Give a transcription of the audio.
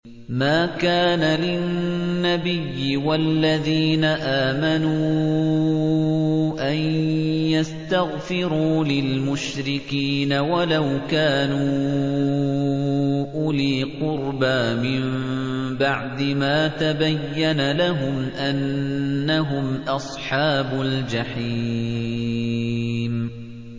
مَا كَانَ لِلنَّبِيِّ وَالَّذِينَ آمَنُوا أَن يَسْتَغْفِرُوا لِلْمُشْرِكِينَ وَلَوْ كَانُوا أُولِي قُرْبَىٰ مِن بَعْدِ مَا تَبَيَّنَ لَهُمْ أَنَّهُمْ أَصْحَابُ الْجَحِيمِ